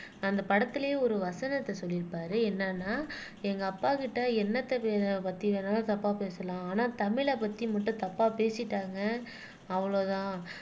அந்த படத்திலேயே ஒரு வசனத்தை சொல்லி இருப்பாரு என்னன்னா எங்க அப்பாகிட்ட என்னத்த பத்தி வேணாலும் தப்பா பேசலாம் ஆனா தமிழை பத்தி மட்டும் தப்பா பேசிட்டாங்க அவ்வளவுதான்